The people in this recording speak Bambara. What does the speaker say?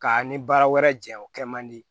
Ka ni baara wɛrɛ jɛ o kɛ man di